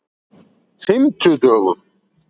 fimmtudögum